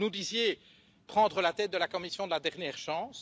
Vous nous disiez prendre la tête de la Commission de la dernière chance.